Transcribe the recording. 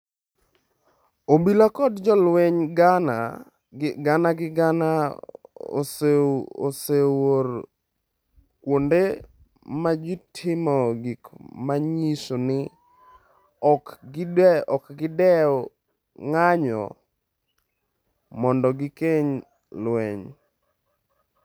Obila kod jolweny gana gi gana oseor kuonde ma ji timoe gik ma nyiso ni ok gidew ng’anjo mondo gigeng’ lweny.